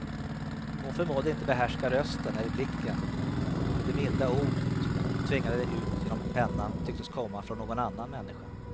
Hon förmådde inte behärska rösten eller blicken, och de milda ord som hon tvingade ut genom pennan tycktes komma från någon annan människa.